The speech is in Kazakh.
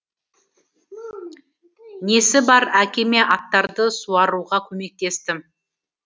несі бар әкеме аттарды суаруға көмектестім